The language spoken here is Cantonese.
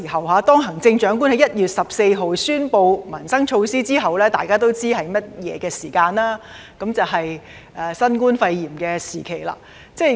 大家都知道，行政長官在1月14日宣布民生措施之後，便是新冠肺炎時期。